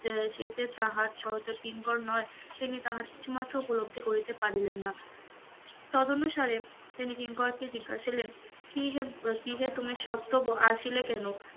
সে যে তাহার সহদর কিঙ্কর নয়, তেমনি তাহার কিছুমাত্র উপলব্ধি করিতে পারিলেন না, তদানুসারে তিনি কিঙ্করকে জিজ্ঞাসিলেন কি হে কি হে তুমি স্বত্বর আসিলে কেন?